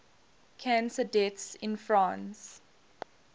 cancer deaths in france